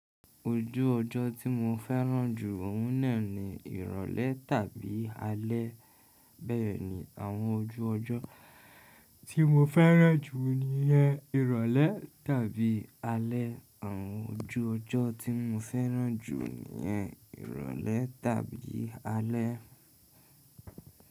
Ojú ọjọ́ tí mo fẹ́ràn jù òun náà ni ìrọ̀lẹ́ tàbí alẹ́. Bẹ́ẹ̀ni, àwọn ojú ọjọ́ tí mo fẹ́ràn jù niyen ìrọ̀lẹ́ tàbí alẹ́. Àwọn ojú ọjọ́ tí mo fẹ́ràn jù ni ìrọ̀lẹ́ tàbí alẹ́.